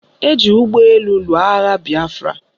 Eji ụgbọelu lụọ agha bịafra.